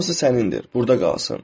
hamısı sənindir, burda qalsın.